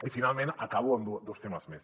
i finalment acabo amb dos temes més